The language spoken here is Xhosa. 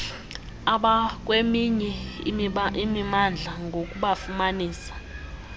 abakweminye imimandla ngokubafumanisa